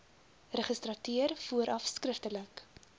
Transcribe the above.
registrateur vooraf skriftelik